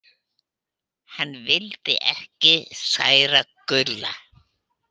Hann vildi ekki særa Gulla.